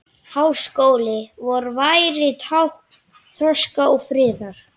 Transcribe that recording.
Háskóli vor væri tákn þroska og friðar.